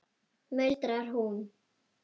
muldrar hún.